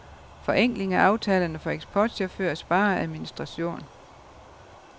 Forenkling af aftalerne for eksportchauffører sparer administration.